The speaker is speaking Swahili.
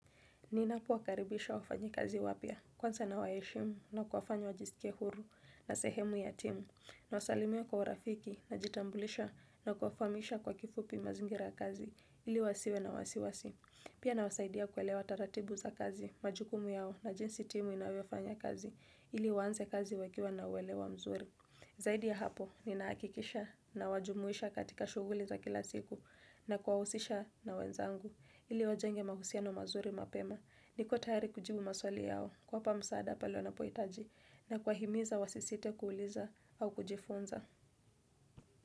Ninapo wakaribisha wafanyikazi wapya, kwanza nawaheshimu na kufanya wajisikie huru na sehemu ya timu, nawasalimia kwa urafiki najitambulisha na kuwafahamisha kwa kifupi mazingira ya kazi ili wasiwe na wasiwasi. Pia nawasaidia kuelewa taratibu za kazi, majukumu yao na jinsi timu inavyofanya kazi ili waanze kazi wakiwa na uelewa mzuri. Zaidi ya hapo, ninahakikisha nawajumuisha katika shughuli za kila siku na kuwahusisha na wenzangu. Ili wajenge mahusiano mazuri mapema niko tayari kujibu maswali yao kuwapa msaada pale wanapohitaji na kuwahimiza wasisite kuuliza au kujifunza.